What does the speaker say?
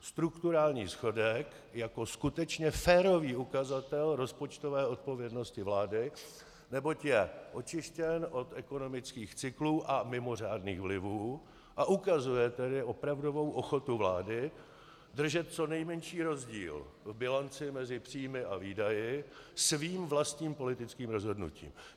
Strukturální schodek jako skutečně férový ukazatel rozpočtové odpovědnosti vlády, neboť je očištěn od ekonomických cyklů a mimořádných vlivů, a ukazuje tedy opravdovou ochotu vlády držet co nejmenší rozdíl v bilanci mezi příjmy a výdaji svým vlastním politickým rozhodnutím.